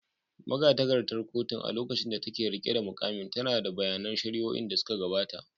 Magatakardar kotun, a lokacin da take riƙe da muƙamin, tana da bayanan shari’o’in da suka gabata.